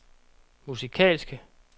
musikalske